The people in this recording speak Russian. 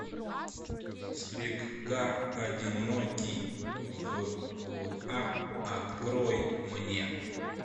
слегка одинокий вла открой мне